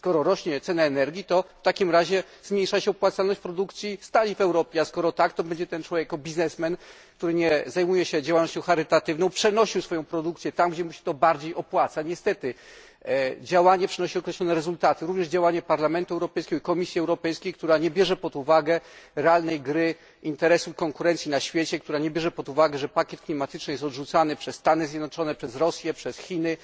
Skoro rośnie cena energii, to w takim razie zmniejsza się opłacalność produkcji stali w Europie, a skoro tak, to ten człowiek jako biznesmen, który nie zajmuje się działalnością charytatywną będzie przenosił swoją produkcję tam, gdzie mu się to bardziej opłaca. Niestety działanie przynosi określone rezultaty, również działanie Parlamentu Europejskiego i Komisji Europejskiej, która nie bierze pod uwagę realnej gry interesu konkurencji na świecie, nie bierze pod uwagę, że pakiet klimatyczny jest odrzucany przez Stany Zjednoczone, Rosję, Chiny,